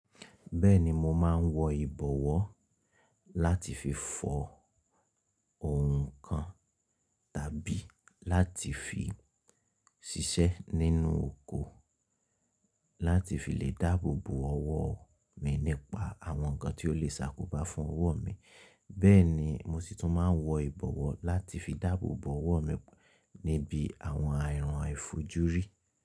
Bẹ́ẹ̀ni mo máa ń wọ ìbọ̀wọ́ láti fi fọ ǹnkan tàbí láti fi ṣiṣẹ́ nínú oko láti fi lè dáàbò bo ọwọ́ mi nípa àwọn ǹnkan tí ó lè ṣàkóbá fún ọwọ́ mi, bẹ́ẹ̀ ni mo sì tún máa ń wọ ìbọ̀wọ́ láti fi dáàbò bo ọwọ́ mi níbi àwọn àìrán àìfojúrí.